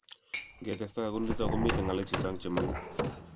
ngetestai kunito komiten ngalek chechang che manguu